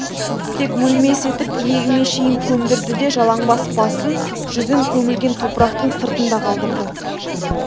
тек өлмес етіп иегіме шейін көмдірді де жалаңбас басын жүзін көмілген топырақтың сыртында қалдырды